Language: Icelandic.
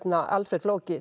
Alfreð flóki